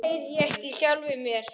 Stundum heyri ég ekki í sjálfum mér.